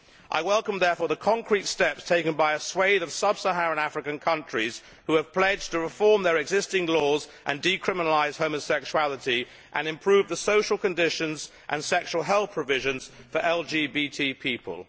I welcome therefore the concrete steps taken by a swathe of sub Saharan African countries who have pledged to reform their existing laws, decriminalise homosexuality and improve social conditions and sexual health conditions for LGBT people.